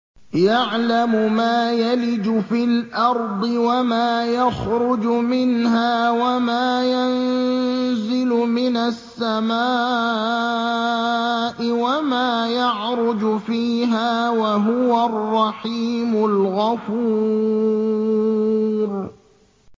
يَعْلَمُ مَا يَلِجُ فِي الْأَرْضِ وَمَا يَخْرُجُ مِنْهَا وَمَا يَنزِلُ مِنَ السَّمَاءِ وَمَا يَعْرُجُ فِيهَا ۚ وَهُوَ الرَّحِيمُ الْغَفُورُ